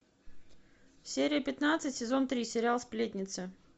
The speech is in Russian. серия пятнадцать сезон три сериал сплетницы